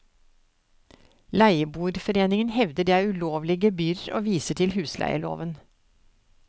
Leieboerforeningen hevder det er ulovlige gebyrer og viser til husleieloven.